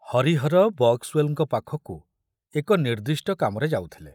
ହରିହର ବକ୍ସୱେଲଙ୍କ ପାଖକୁ ଏକ ନିର୍ଦ୍ଦିଷ୍ଟ କାମରେ ଯାଉଥିଲେ।